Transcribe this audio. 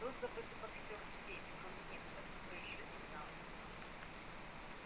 был забыт и боксёр всеми кроме некоторых кто ещё не знал его